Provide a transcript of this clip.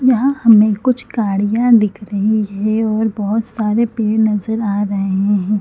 यहाँ हमे कुछ गाड़ियाँ दिख रही है और बहोत सारे पेड़ नज़र आ रहे है।